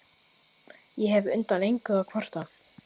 Ég hef undan engu að kvarta.